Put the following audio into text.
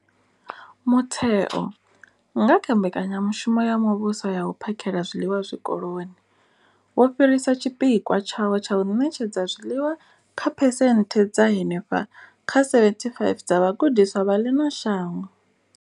Mutheo, nga kha Mbekanya mushumo ya Muvhuso ya U phakhela zwiḽiwa Zwikoloni, wo fhirisa tshipikwa tshawo tsha u ṋetshedza zwiḽiwa kha phesenthe dza henefha kha 75 dza vhagudiswa vha ḽino shango.